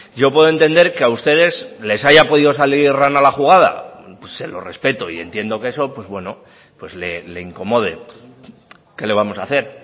yo puedo entender que a ustedes les haya podido salir rana la jugada se lo respeto y entiendo que eso le incomode qué le vamos a hacer